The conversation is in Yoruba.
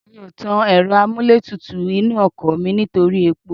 Mi ò tàn ẹ̀rọ amúlétutù inú ọkọ̀ mi nítorí epo